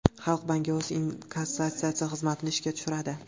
Xalq banki o‘z inkassatsiya xizmatini ishga tushiradi.